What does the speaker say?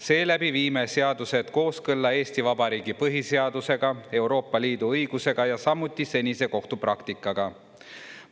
Seeläbi viime seadused kooskõlla Eesti Vabariigi põhiseadusega, Euroopa Liidu õigusega ja samuti senise kohtupraktikaga.